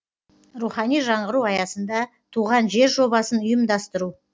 рухани жаңғыру аясында туған жер жобасын ұйымдастыру